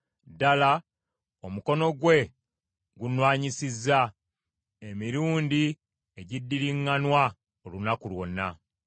ddala, omukono gwe gunnwanyisizza emirundi egiddiriŋŋanwa olunaku lwonna.